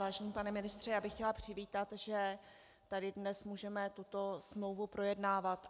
Vážený pane ministře, já bych chtěla přivítat, že tady dnes můžeme tuto smlouvu projednávat.